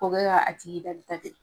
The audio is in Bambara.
O kɛ ka a tigi dal ta te